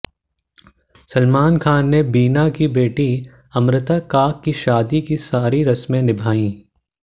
सलमान खान ने बीना की बेटी अमृता काक की शादी की सारी रस्में निभाईं